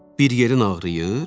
Bir yerin ağrıyır?